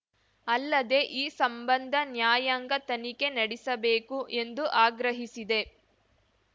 ಅಲ್ಲದೆ ಈ ಸಂಬಂಧ ನ್ಯಾಯಾಂಗ ತನಿಖೆ ನೆಡಿಸಬೇಕು ಎಂದು ಆಗ್ರಹಿಸಿದೆ